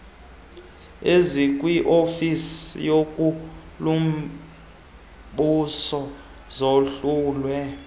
ezikwiofisi yenkulumbuso zahlulwe